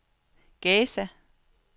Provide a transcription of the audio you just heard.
Gaza